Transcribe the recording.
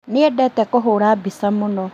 Nĩendete kũhũra mbica mũno